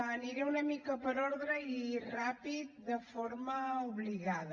aniré una mica per ordre i ràpid de forma obligada